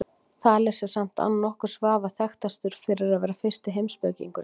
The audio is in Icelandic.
Þales er samt án nokkurs vafa þekktastur fyrir að vera fyrsti heimspekingurinn.